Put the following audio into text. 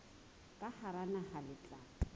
ka hara naha le tla